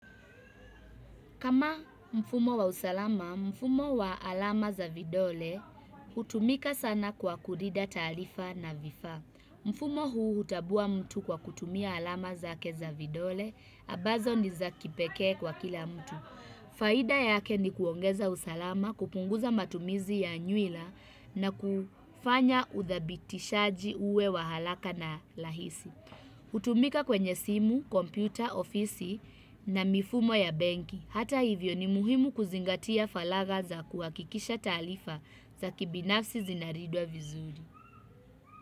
Kama mfumo wa usalama, mfumo wa alama za vidole, hutumika sana kwa kulinda taarifa na vifaa. Mfumo huu hutambua mtu kwa kutumia alama zake za vidole, ambazo ni za kipekee kwa kila mtu. Faida yake ni kuongeza usalama, kupunguza matumizi ya nywila na kufanya uthabitishaji uwe wa haraka na rahisi. Hutumika kwenye simu, kompyuta, ofisi na mifumo ya benki. Hata hivyo ni muhimu kuzingatia faragha za kuhakikisha taarifa za kibinafsi zinalindwa vizuri.